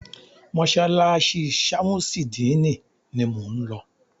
Mọ́sálásí ṣamusidini ni mọ ń lọ.